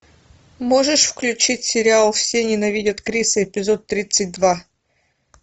можешь включить сериал все ненавидят криса эпизод тридцать два